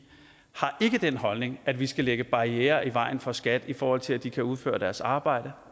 har ikke den holdning at vi skal lægge barrierer i vejen for skat i forhold til at de kan udføre deres arbejde